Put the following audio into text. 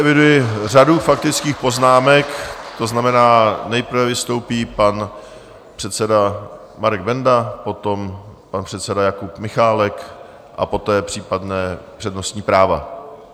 Eviduji řadu faktických poznámek, to znamená, nejprve vystoupí pan předseda Marek Benda, potom pan předseda Jakub Michálek a poté případná přednostní práva.